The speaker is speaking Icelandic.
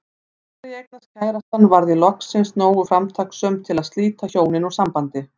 Þegar ég eignaðist kærastann varð ég loksins nógu framtakssöm til að slíta hjónin úr sambandi.